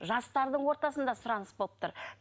жастардың ортасында сұраныс болып тұр